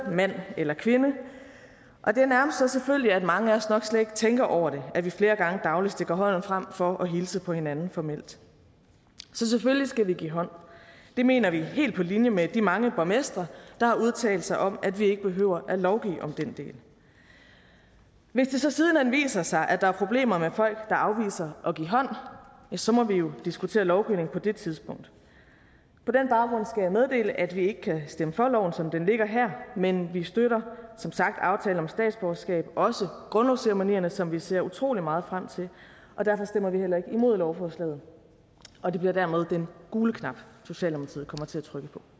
mand eller kvinde og det er nærmest så selvfølgeligt at mange af os nok slet ikke tænker over det at vi flere gange dagligt stikker hånden frem for at hilse på hinanden formelt så selvfølgelig skal vi give hånd det mener vi helt på linje med de mange borgmestre der har udtalt sig om at vi ikke behøver at lovgive om den del hvis det så siden hen viser sig at der er problemer med folk der afviser at give hånd ja så må vi jo diskutere lovgivningen på det tidspunkt på den baggrund skal jeg meddele at vi ikke kan stemme for som det ligger her men vi støtter som sagt aftalen om statsborgerskab også grundlovsceremonierne som vi ser utrolig meget frem til og derfor stemmer vi heller ikke imod lovforslaget og det bliver dermed den gule knap socialdemokratiet